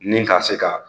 Ni ka se ka